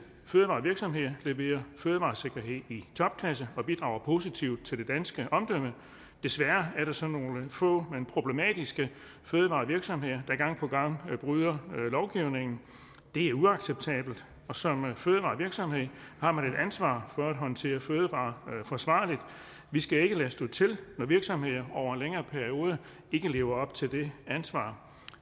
fødevarevirksomheder leverer fødevaresikkerhed i topklasse og bidrager positivt til det danske omdømme desværre er der så nogle få men problematiske fødevarevirksomheder der gang på gang bryder lovgivningen det er uacceptabelt som fødevarevirksomhed har man et ansvar for at håndtere fødevarer forsvarligt vi skal ikke lade stå til når virksomheder over en længere periode ikke lever op til det ansvar